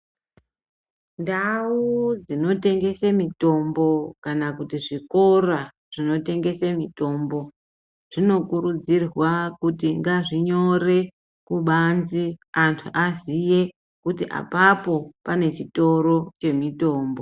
Ndau dzinotengese mitombo kana kuti zvikora zvinotengese mitombo zvinokurudzirwa kuti ngazvinyore kubanzi kuti anhu aziye kuti apapo pane chitoro chemitombo.